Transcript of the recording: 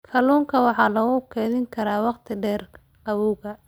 Kalluunka waxa lagu kaydin karaa wakhti dheer qabowga.